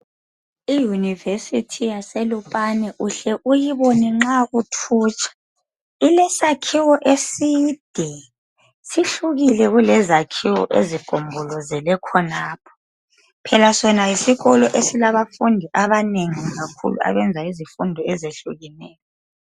i univesirty yaselupane uhle uyibone nxa uthutsha ilesakhiwo eside sihlukile kulezakhiwo ezigombolozele khonapha phela sona yisikolo esilabafundi abanengi kakhulu abayenza izifundo eziyehlukeneyo